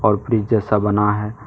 और जैसा बना है।